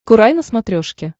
курай на смотрешке